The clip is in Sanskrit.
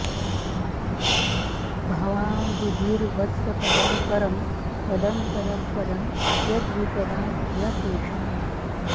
भवाम्बुधिर्वत्सपदं परं पदं पदं पदं यद्विपदां न तेषाम्